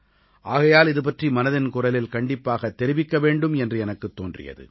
ஆகையால் இதுபற்றி மனதின் குரலில் கண்டிப்பாகத் தெரிவிக்க வேண்டும் என்று எனக்குத் தோன்றியது